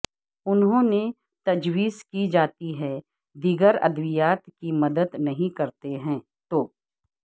انہوں نے تجویز کی جاتی ہے دیگر ادویات کی مدد نہیں کرتے ہیں تو